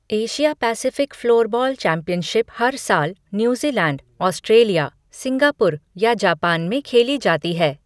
Asia Pacific floorball championship हर साल New Zealand, Australia, Singapore या जापान में खेली जाती है।